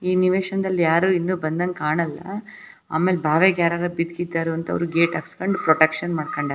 ಈ ನಿವೇಶನದಂಗ್ ಯಾರು ಬಂದಂಗ್ ಕಾಣಲ್ಲ ಆಮೇಲ್ ಬಾವೆಗ್ ಯಾರಾರು ಬಿಡಗಿದ್ದರೋ ಅಂತ ಗೇಟ್ ಹಸ್ಕಂಡ್ ಪ್ರೊಟೆಕ್ಷನ್ ಮಾಡ್ಕಂಡರ್.